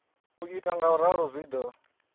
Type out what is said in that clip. u ita ngauralo zwi do